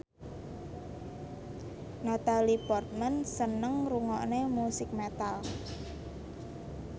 Natalie Portman seneng ngrungokne musik metal